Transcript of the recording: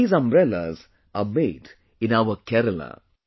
These umbrellas are made in our Kerala